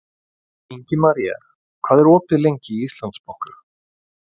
Ingimaría, hvað er opið lengi í Íslandsbanka?